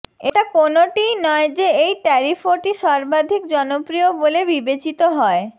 এটা কোনওটিই নয় যে এই ট্যারিফটি সর্বাধিক জনপ্রিয় বলে বিবেচিত হয়